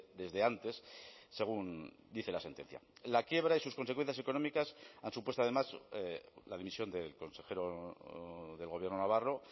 desde antes según dice la sentencia la quiebra y sus consecuencias económicas ha supuesto además la dimisión del consejero del gobierno navarro